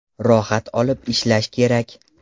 Rohat olib ishlash kerak.